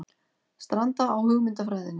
Stranda á hugmyndafræðinni